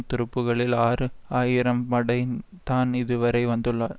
துருப்புக்களில் ஆறு ஆயிரம் படை தான் இதுவரை வந்துள்ளனர்